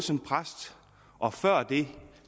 som præst og før det